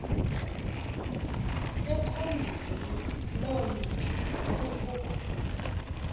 ekhondweni loonina ukuba